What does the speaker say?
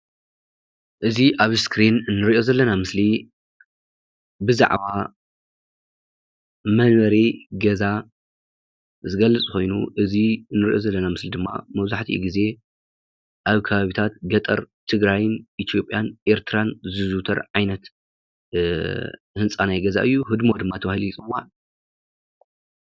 እዚ ኣብ እስክሪን እንሪኦ ዘለና ምስሊ ብዛዕባ መንበሪ ገዛ ዝገልፅ ኮይኑ እዚ ንሪኦ ዘለና ምስሊ ድማ መብዛሕቲኡ ግዜ ኣብ ከባብታት ገጠር ትግራይን፣ ኢትዮጵያን ኤርትራን ዝዝውተር ዓይነት ህንፃ ናይ ገዛ እዩ፡፡ ህድሞ ድማ ተባሂሉ ይፅዋዕ፡፡